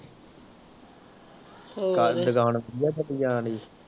ਸਾਰੀ ਦੁਕਾਨ ਪ੍ਰਿਆ ਠੱਗੀ ਜਾਣ ਢਾਈ